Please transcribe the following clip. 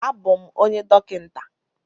A bụ m onye dọkịnta.